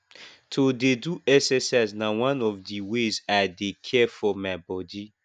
to dey do exercise na one of di ways i dey care for my bodi